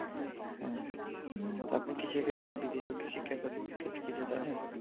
হ্যাঁ। তো আপনি কি সেক্ষেত্রে বিদেশে উচ্চশিক্ষার ক্ষেত্রে কিছু জানেন?